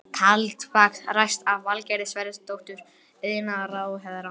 Kaldbaks ræst af Valgerði Sverrisdóttur iðnaðarráðherra.